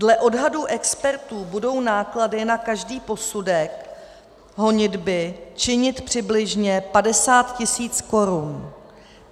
Podle odhadu expertů budou náklady na každý posudek honitby činit přibližně 50 tisíc korun.